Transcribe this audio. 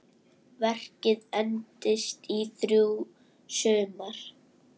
Verkið entist í þrjú sumur.